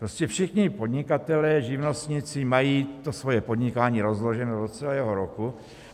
Prostě všichni podnikatelé, živnostníci mají to svoje podnikání rozloženo do celého roku.